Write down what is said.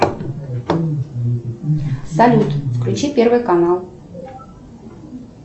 салют включи первый канал